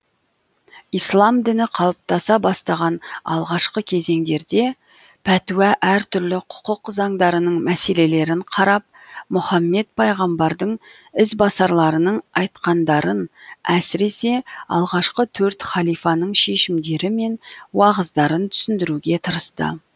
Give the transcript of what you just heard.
ислам діні қалыптаса бастаған алғашқы кезеңдерде пәтуә әртүрлі құқық заңдарының мәселелерін карап мұхаммед пайғамбардың ізбасарларының айтқандарын әсіресе алғашқы төрт халифаның шешімдері мен уағыздарын түсіндіруге тырысты